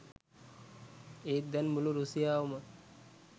ඒත් දැන් මුළු රුසියාවම